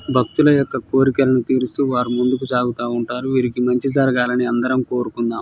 బక్తుల యొక్క కోరికలను తిరుస్తు వారు ముందుకు సాగుతా ఉంటారు విర్కి మంచి జేరుగాలన్ని అందరం కోరుకుందాం.